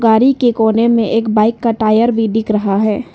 गाड़ी की कोने में एक बाइक का टायर भी दिख रहा है।